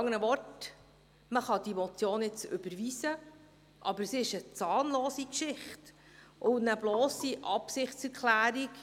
Mit anderen Worten: Man kann diese Motion jetzt überweisen, aber das ist eine zahnlose Sache, eine blosse Absichtserklärung.